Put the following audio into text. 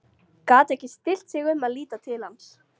Gat ekki stillt sig um að líta til hans.